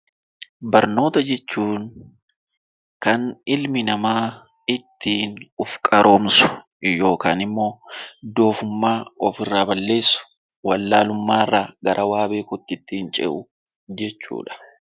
Barnoota jechuun kan ilmi namaa ittiin of qaroomsu yookaan immoo doofummaa of irraa balleessu , wallaalummaa irraa gara beekumsa jechuudha.